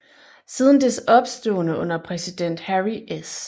Siden dets opståen under præsident Harry S